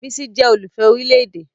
Bísí jẹ́ olùfẹ́ orílè-èdè